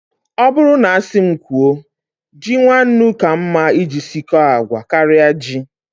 Ọ bụrụ na asị m kwuo, ji nwannu ka mma iji sikọọ agwa karịa ji